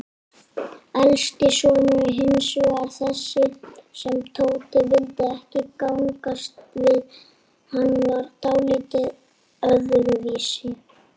Elsti sonurinn hinsvegar, þessi sem Tóti vildi ekki gangast við, hann var dáldið öðruvísi.